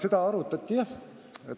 Seda arutati jah.